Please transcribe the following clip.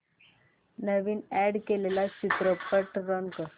नवीन add केलेला चित्रपट run कर